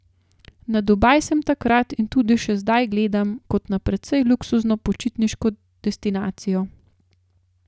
Na Dubaj sem takrat in tudi še zdaj gledam kot na precej luksuzno počitniško destinacijo.